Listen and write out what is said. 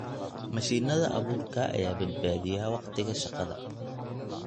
Mashiinada abuurka ayaa badbaadiya wakhtiga shaqada.